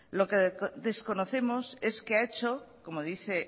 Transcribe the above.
lo que desconocemos es qué ha hecho como dice